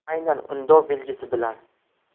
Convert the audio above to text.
Aynan undov belgisi bilan.